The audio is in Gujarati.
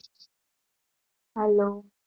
Hello